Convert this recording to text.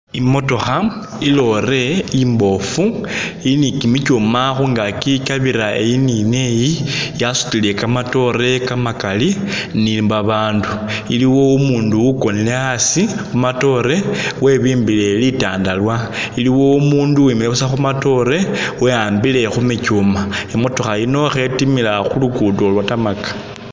Imotokha i'lorry imbofu ili ni kimitsuma khungachi kikyabira eyi ni neyi yasutile kamatoore kamakali ni babandu iliwo umundu ukonile asi khumatoore webimbile litandalwa, iliwo umundu wuwimikhile buusa khumatoore we'ambile khumikyuma imotokha yino khetimila khu'luguddo lwa' tarmac